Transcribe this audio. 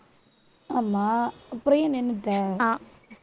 ஆமா அப்புறம் ஏன் நின்னுட்ட